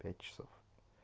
пять часов